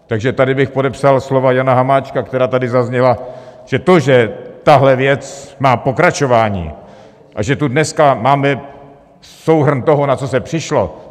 Takže tady bych podepsal slova Jana Hamáčka, která tady zazněla, že to, že tahle věc má pokračování a že tu dneska máme souhrn toho, na co se přišlo.